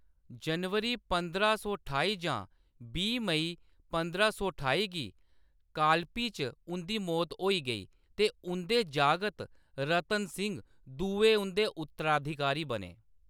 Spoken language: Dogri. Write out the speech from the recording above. जनवरी पंदरां सौ ठाई जां बीह् मेई पंदरां सौ ठाई गी कालपी च उंʼदी मौत होई गेई, ते उंʼदे जागत रतन सिंह दुए उंʼदे उत्तराधिकारी बने।